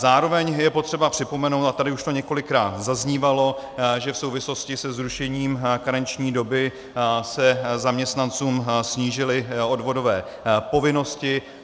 Zároveň je potřeba připomenout, a tady už to několikrát zaznívalo, že v souvislosti se zrušením karenční doby se zaměstnancům snížily odvodové povinnosti.